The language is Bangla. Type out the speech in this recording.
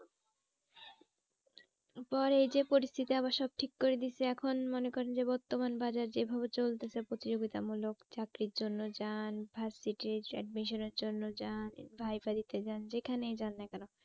পরে এই যে পরিস্থিতি আবার সব ঠিক করে দিয়েছে এখন মনে করেন যে বর্তমান বাজার যে ভাবে চলতেছে প্রতিযোগিতা মূলক চাকরির জন্য যান admission এর জন্য যান যান যেখানেই যান না কেন